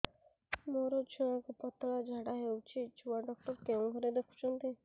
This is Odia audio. ମୋର ଛୁଆକୁ ପତଳା ଝାଡ଼ା ହେଉଛି ଛୁଆ ଡକ୍ଟର କେଉଁ ଘରେ ଦେଖୁଛନ୍ତି